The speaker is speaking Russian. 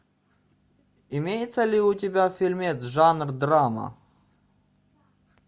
имеется ли у тебя фильмец жанр драма